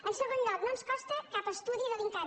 en segon lloc no ens consta cap estudi de l’incavi